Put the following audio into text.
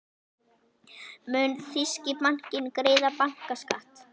Mun þýski bankinn greiða bankaskatt?